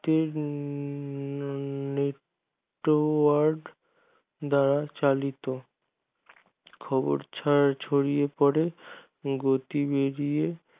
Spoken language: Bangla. network দ্বারা চালিত খবর ছড়িয়ে পরে গতি বেরিয়ে